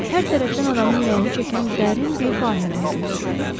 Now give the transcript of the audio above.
Hər tərəfdən adamın ürəyini çəkən dərin bir vahimə hökm sürürdü.